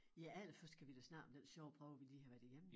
Ja allerførst kan vi da snakke om den sjove prøve vi lige har været igennem